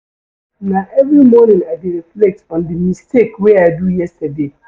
Na every morning I dey reflect on di mistake wey I do yesterday.